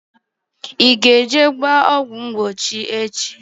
I ga eje gbaa ọgwụ mgbochi echi?